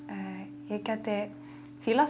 ég gæti